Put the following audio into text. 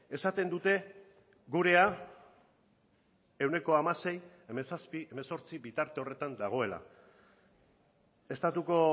esaten dute gurea ehuneko hamaseihamazazpi hemezortzi bitarte horretan dagoela estatuko